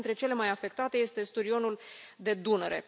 Una dintre cele mai afectate este sturionul de Dunăre.